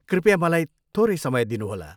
कृपया मलाई थोरै समय दिनुहोला।